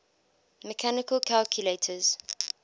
mechanical calculators